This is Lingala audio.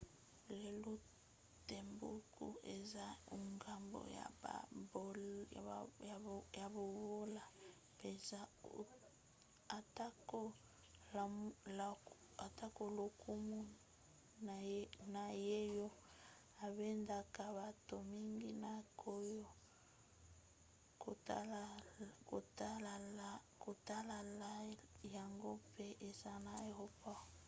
lelo timbuktu eza engumba ya bobola mpenza atako lokumu na yango ebendaka bato mingi na koya kotala yango mpe eza na aeroport